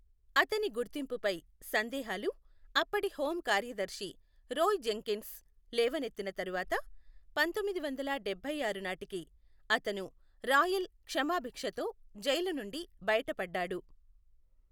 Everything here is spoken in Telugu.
అతని గుర్తింపుపై సందేహాలు, అప్పటి హోం కార్యదర్శి రోయ్ జెంకిన్స్ లేవనెత్తిన తర్వాత పంతొమ్మిది వందల డభైఆరు నాటికి, అతను రాయల్ క్షమాభిక్షతో జైలు నుండి బయటపడ్డాడు.